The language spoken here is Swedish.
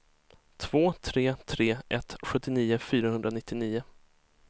två tre tre ett sjuttionio fyrahundranittionio